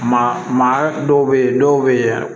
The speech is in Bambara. Maa maa dɔw bɛ yen dɔw bɛ yen